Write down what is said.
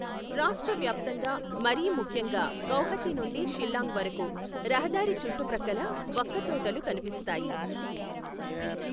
రాష్ట్ర వ్యాప్తంగా, మరీ ముఖ్యంగా గౌహతి నుండి షిల్లాంగ్ వరకు రహదారి చుట్టుప్రక్కల వక్క తోటలు కనిపిస్తాయి.